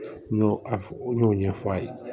N y'o a n y'o ɲɛfɔ a ye